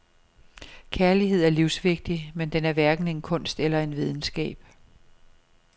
Kærlighed er livsvigtig, men den er hverken en kunst eller en videnskab.